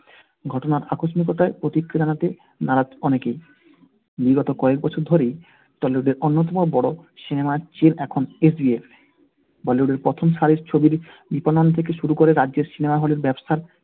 ঘটনার আকস্মিকতায় প্রতিক্রিয়া জানাতে নারাজ অনেকেই। বিগত কয়েক বছর ধরেই tollywood এর অন্যতম বড়ো cinema র এখন SBF । bollywood এর প্রথম সারির ছবির economy থেকে শুরু করে রাজ্যের cinema hall এ ব্যাবসার